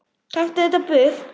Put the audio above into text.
Taktu þetta burt!